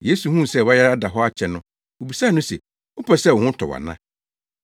Yesu huu sɛ wayare ada hɔ akyɛ no, obisaa no se, “Wopɛ sɛ wo ho tɔ wo ana?”